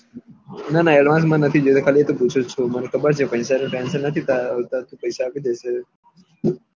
ના ના અડ્વાન્સ મને નથી જોયીતું ખાલી એ તો પૂછું છું મને ખબર છે પેસા નું ટેન્સન નથી તારા ઉપર ટુ પેસા આપી દયીસ